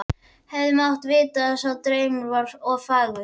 Hefði mátt vita að sá draumur var of fagur.